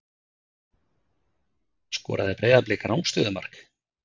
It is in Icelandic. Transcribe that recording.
Skoraði Breiðablik rangstöðumark?